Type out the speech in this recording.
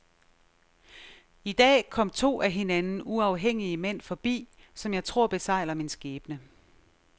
I dag kom to af hinanden uafhængige mænd forbi, som jeg tror besegler min skæbne.